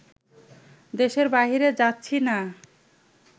দেশের বাইরে যাচ্ছি না